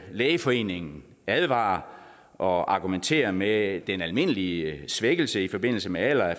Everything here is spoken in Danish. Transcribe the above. lægeforeningen advarer og argumenterer med den almindelige svækkelse i forbindelse med alder af